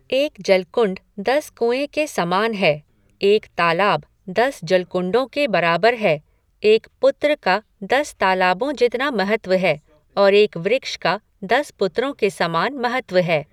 एक जलकुंड दस कुंए के समान है, एक तालाब दस जलकुंडों के बराबर है, एक पुत्र का दस तालाबों जितना महत्व है और एक वृक्ष का दस पुत्रों के समान महत्व है।